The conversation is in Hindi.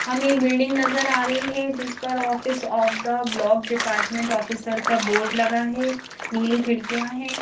हमें बिल्डिंग नजर आ रही है जिस पर office of the block department officer का बोर्ड लगा है नीली खिड़कियां हैं।